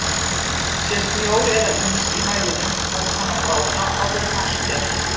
Sé snjór eða ís í mælinum verður hann að bráðna áður en mælt er.